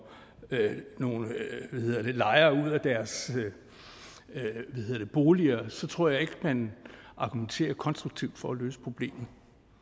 nogle lejere ud af deres boliger så tror jeg ikke man argumenterer konstruktivt for at løse problemet